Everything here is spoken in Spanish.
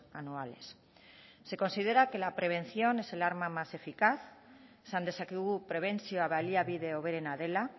anuales se considera que la prevención es el arma más eficaz esan dezakegu prebentzioa baliabide hoberena dela